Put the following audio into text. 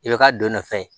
I bɛ ka don nɔfɛ